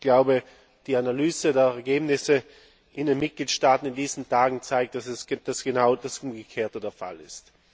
Ich glaube, die Analyse der Ergebnisse in den Mitgliedstaaten in diesen Tagen zeigt, dass genau das Umgekehrte der Fall ist.